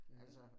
Ja